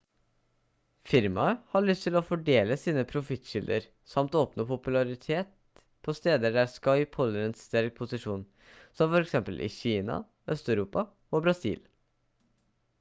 firmaet har lyst til å fordele sine profittkilder samt å oppnå popularitet på steder der skype holder en sterk posisjon som for eksempel i kina øst-europa og brasil